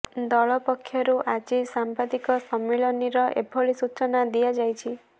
ଦଳ ପକ୍ଷରୁ ଆଜି ସାମ୍ବାଦିକ ସମ୍ମିଳନୀେର ଏଭଳି ସୂଚନା ଦିଆଯାଇଛି